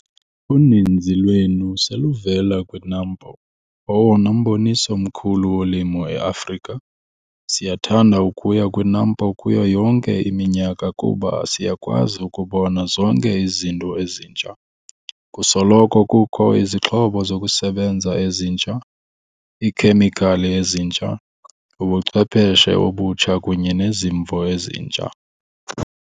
Uninzi lwenu seluvela kwiNAMPO - owona mboniso mkhulu wolimo eAfrika. Siyathanda ukuya kwiNAMPO kuyo yonke iminyaka kuba siyakwazi ukubona zonke izinto ezintsha. Kusoloko kukho izixhobo zokusebenza ezitsha, iikhemikhali ezintsha, ubuchwepheshe obutsha kunye nezimvo ezintsha.